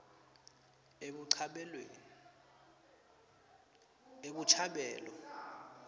ebuchabelo